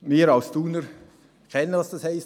wir als Thuner wissen, was Hochwasser bedeutet;